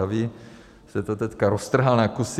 A vy jste to teďka roztrhal na kusy.